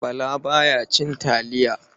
Bala ba ya cin taliya.